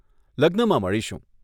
લગ્નમાં મળીશું.